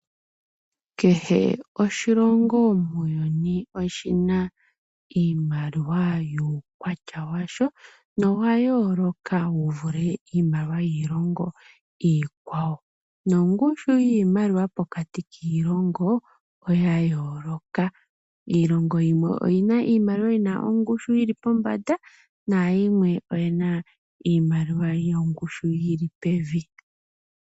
Kehe oshilongo muuyuni oshi na iimaliwa wuukwatya washo nowa yooloka wu vule iimaliwa yiilongo iikwawo. Nongushu yiimaliwa pokati kiilongo oya yooloka. Iilongo yimwe oyi na iimaliwa yi na ongushu yi li pombanda nayimwe oyi na iimaliwa yongushu yi li pevi.